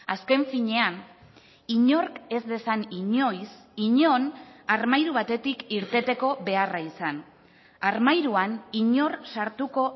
azken finean inork ez dezan inoiz inon armairu batetik irteteko beharra izan armairuan inor sartuko